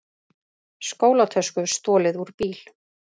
Skólatösku stolið úr bíl